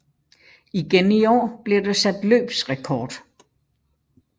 Igen i år blev der sat løbsrekord